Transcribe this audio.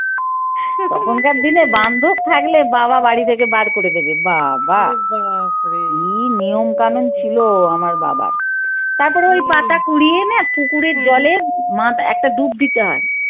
তখনকার দিনে বান্ধব থাকলে বাবা বাড়ি থেকে বার করে দেবে। বাবা কি নিয়ম কানুন ছিল আমার বাবার। তারপরে ওই পাতা কুড়িয়ে এনে পুকুরের জলে একটা ডুব দিতে হয়।